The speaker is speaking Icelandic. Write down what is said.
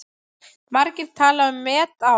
Margir tala um met ár.